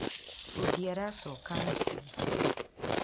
Fundi aracoka mũci